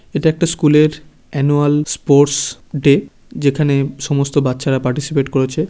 এটা একটা স্কুল -এর অ্যানুয়াল স্পোর্টস ডে । যেখানে সমস্ত বাচ্চারা পার্টিসিপেট করেছে ।